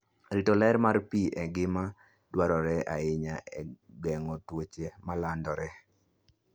Rito ler mar pi en gima dwarore ahinya e geng'o tuoche ma landore.